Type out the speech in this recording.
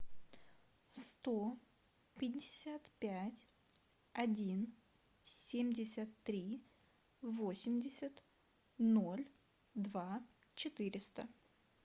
сто пятьдесят пять один семьдесят три восемьдесят ноль два четыреста